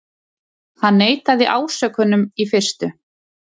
Hann neitaði ásökunum í fyrstu